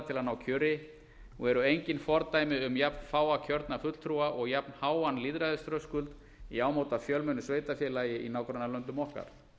til að ná kjöri og eru engin fordæmi um jafnfáa kjörna fulltrúa og jafnháan lýðræðisþröskuld í ámóta fjölmennu sveitarfélagi í nágrannalöndum okkar